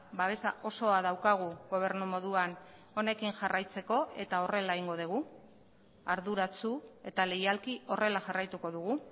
babesa osoa daukagu gobernu moduan honekin jarraitzeko eta horrela egingo dugu arduratsu eta leialki horrela jarraituko dugu